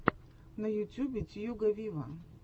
на ютьюбе тьюга виво